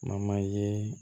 ye